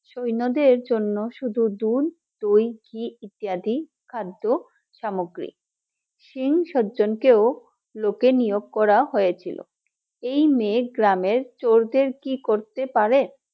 সৈন্যদের জন্য শুধু দুধ, দই, ঘি ইত্যাদি খাদ্য সামগ্রী, সিং সজ্জন কেও লোক নিয়োগ করা হয়েছিল এই মেয়ে গ্রামের চোরদের কি করতে পারে